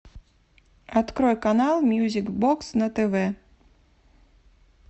открой канал мьюзик бокс на тв